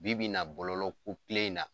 Bi bi in na bɔlɔlɔ ko kelen in na